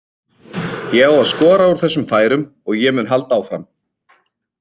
Ég á að skora úr þessum færum og ég mun halda áfram.